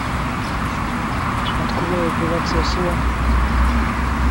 открой операция слон